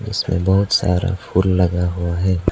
इसमें बहोत सारा फूल लगा हुआ है।